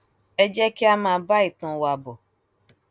ẹ jẹ kí a máa bá ìtàn wa bọ